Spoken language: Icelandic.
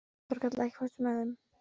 Þorkatla, ekki fórstu með þeim?